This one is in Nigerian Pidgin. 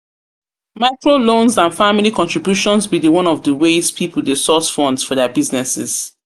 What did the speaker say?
Microloans and family contributions be di one of di ways people dey source funds for dia businesses.